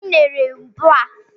Weta unere ebe a!